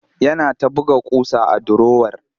Yana ta buga ƙusa a durowar